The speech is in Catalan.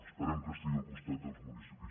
esperem que estigui al costat dels municipis giro·nins